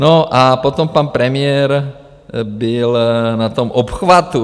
No a potom pan premiér byl na tom obchvatu.